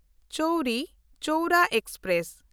Chauri Chaura express